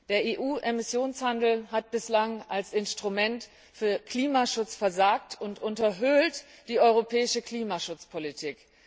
Der EU Emissionshandel hat bislang als Instrument für den Klimaschutz versagt und unterhöhlt die europäische Klimaschutzpolitik.